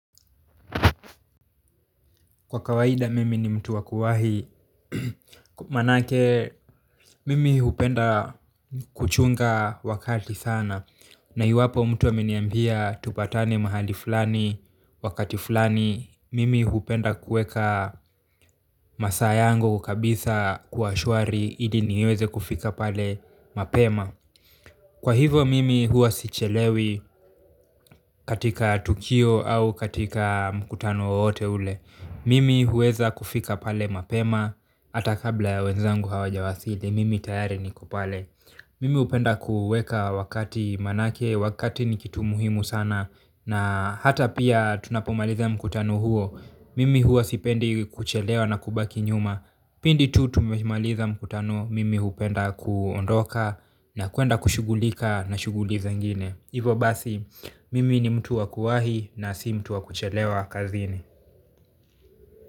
Kwa kawaida mimi ni mtu wakuwahi manake mimi hupenda kuchunga wakati sana na hiwapo mtu aminiambia tupatane mahali fulani wakati fulani mimi hupenda kuweka masaa yangu kabisa kuwa shwari ili niweze kufika pale mapema kwa hivo mimi huwa sichelewi katika tukio au katika mkutano wowote ule mimi huweza kufika pale mapema hata kabla ya wenzangu hawajawasili, mimi tayari niko pale mimi upenda kuweka wakati manake, wakati ni kitu muhimu sana na ata pia tunapomaliza mkutano huo, mimi huwa sipendi kuchelewa na kubaki nyuma. Pindi tu tumemaliza mkutano, mimi upenda kuondoka na kuenda kushughulika na shughuli zingine ivo basi, mimi ni mtu wakuwahi na si mtu wakuchelewa kazini.